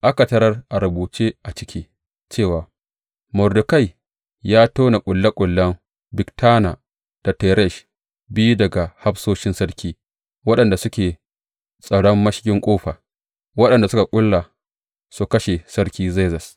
Aka tarar, a rubuce a ciki, cewa Mordekai ya tone ƙulle ƙullen Bigtana da Teresh, biyu daga hafsoshin sarki, waɗanda suke tsaron mashigin ƙofa, waɗanda suka ƙulla su kashe Sarki Zerzes.